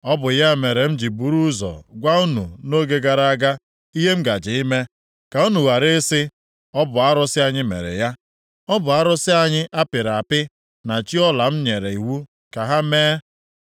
Ọ bụ ya mere m ji buru ụzọ gwa unu nʼoge gara aga ihe m gaje ime, ka unu ghara ị sị, ‘Ọ bụ arụsị anyị mere ya. Ọ bụ arụsị anyị a pịrị apị na chi ọla m nyere iwu ka ha mee!’